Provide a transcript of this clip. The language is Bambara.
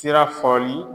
Sira fɔli